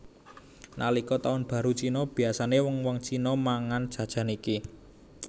Nalika taun baru Cina biyasané wong wong Cina mangan jajan iki